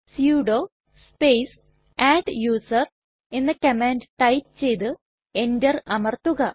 sudo space adduser എന്ന command type ചെയ്തു enter അമർത്തുക